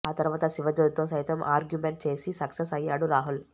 ఆ తర్వాత శివజ్యోతితో సైతం ఆర్గ్యూమెంట్ చేసి సక్సెస్ అయ్యాడు రాహుల్